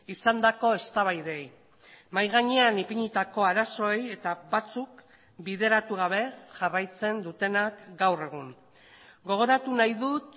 izandako eztabaidei mahai gainean ipinitako arazoei eta batzuk bideratu gabe jarraitzen dutenak gaur egun gogoratu nahi dut